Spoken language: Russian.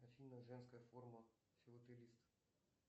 афина женская форма филателист